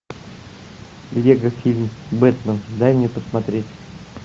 лего фильм бэтмен дай мне посмотреть